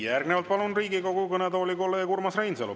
Järgnevalt palun Riigikogu kõnetooli kolleeg Urmas Reinsalu.